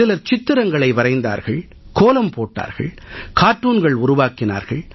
சிலர் சித்திரங்களை வரைந்தார்கள் கோலம் போட்டார்கள் கார்ட்டூன்கள் உருவாக்கினார்கள்